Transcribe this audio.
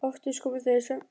Oftast komu þau í svefni.